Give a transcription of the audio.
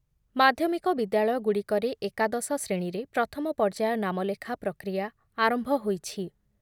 ମାଧ୍ୟମିକ ବିଦ୍ୟାଳୟଗୁଡ଼ିକରେ ଏକାଦଶ ଶ୍ରେଣୀରେ ପ୍ରଥମ ପର୍ଯ୍ୟାୟ ନାମଲେଖା ପ୍ରକ୍ରିୟା ଆରମ୍ଭ ହୋଇଛି ।